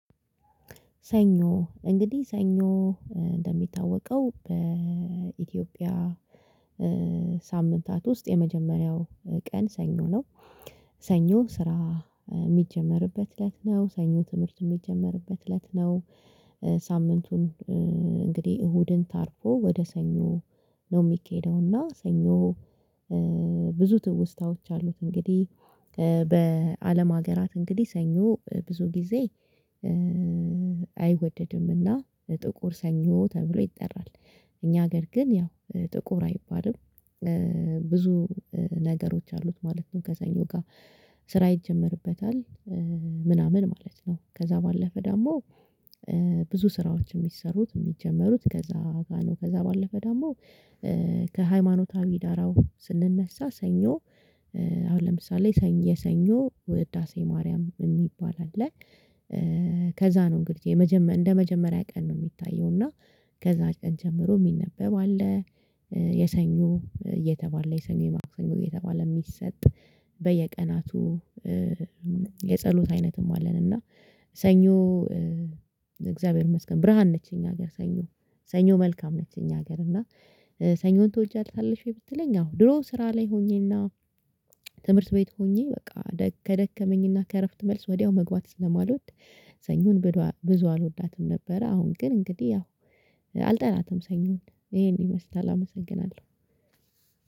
ሰኞ እንግዲህ ሰኞ እንደሚታወቀው በኢትዮጵያ ሳምንታት ውስጥ የመጀመሪያው ቀን ሰኞ ነው። ሰኞ ስራ የሚጀመርበት እለት ነው ሰኞ ትምህርት የሚጀመርበት እለት ነው። ሳምንቱን እንግዲህ እሁድን ታርፎ ወደ ሰኞ ነው የሚኬደውና ሰኞ ብዙ ትውስታዎች አሉት። እንግዲህ በአለም ሀገራት እንግዲህ ሰኞ ብዙ ጊዜ አይወደድምና ጥቁር ሰኞ ተብሎ ይጠራል። እኛ ሀገር ግን ያው ጥቁር አይባልም። ብዙ ነገሮች አሉት ማለት ነው። ከሰኞ ጋር ስራ ይጀመርበታል ምናምን ማለት ነው። ከዛ ባለፈ ደግሞ ብዙ ስራዎች የሚሰሩት የሚጀመሩት ከዛ ጋር ከዛ ባለፈ ዳማው ከሃይማኖታዊ ዳራው ስንነሳ ሰኞ። አሁን ለምሳሌ የሰኞ ውዳሴ ማርያም የሚባል አለ። ከዛ ነው እንግዲህ እንደመጀመሪያ ቀን ነው የሚታየው እና ከዛ ቀን ጀምሮ የሚነበብ አለ። የሰኞ እየተባለ የሰኞ የማክሰኞ እየተባለ የሚሰጥ በየቀናቱ የጸሎት አይነትም አለን። እና ሰኞ እግዚአብሔር ይመስገን ብርሃን ነች እኛ ሀገር ሰኞ ሰኞ መልካም ነች። እኛ ሀገር እና ሰኞን ትወጃለሽ? ብትለኝ አወ ድሮ ስራ ላይ ሆኜና ትምህርት ቤት ሆኜ በቃ ከደከመኝና ከእረፍት መልስ ወዲያው መግባት ስለማልወድ። ሰኞን ብዙ አልወዳትም ነበረ። አሁን ግን እንግዲህ ያው አልጠላትም ሰኞን ይሄን ይመስላል አመሰግናለሁ።